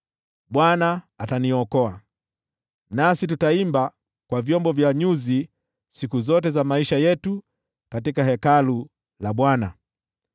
Bwana ataniokoa, nasi tutaimba kwa vyombo vya nyuzi siku zote za maisha yetu katika Hekalu la Bwana .